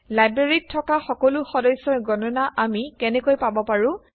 লাইব্ৰেৰীত থকা সকলো সদস্যৰ গণনা আমি কেনেকৈ পাব পাৰোঁ